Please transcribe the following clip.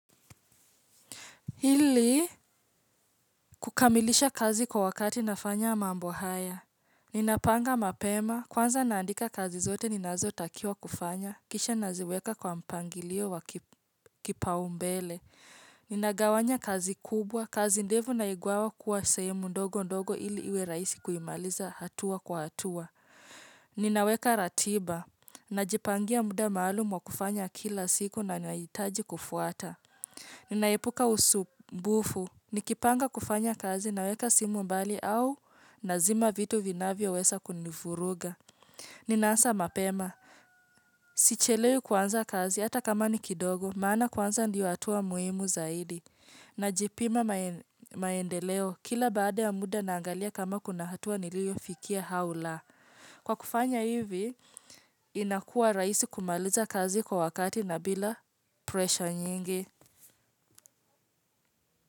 Ili kukamilisha kazi kwa wakati nafanya mambo haya. Ninapanga mapema, kwanza naandika kazi zote ninazo takiwa kufanya. Kisha naziweka kwa mpangilio wa kipaombele. Ninagawanya kazi kubwa, kazi ndefu naigawa kuwa sehemu ndogo ndogo ili iwe raisi kuimaliza hatua kwa hatua. Ninaweka ratiba, najipangia muda maalumu wa kufanya kila siku na nahitaji kufuata. Ninaepuka usumbufu, nikipanga kufanya kazi naweka simu mbali au nazima vitu vinavyoweza kunivuruga. Ninaanza mapema, sichelewi kuanza kazi hata kama ni kidogo, maana kuanza ndio hatua muhimu zaidi. Najipima maendeleo, kila baada ya muda naangalia kama kuna hatua niliyofikia au la. Kwa kufanya hivi, inakua rahisi kumaliza kazi kwa wakati na bila pressure nyingi.